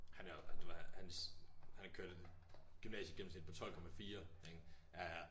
Han er du ved hans han har kørt et gymnasiegennemsnit på 12,4 ikke ja ja